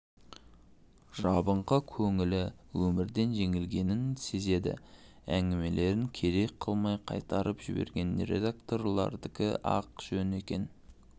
жабыңқы көңілі өмірден жеңілгенін сезеді әңгімелерін керек қылмай қайтарып жіберген редакторлардікі-ақ жөн екен